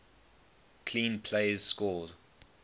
clean plays score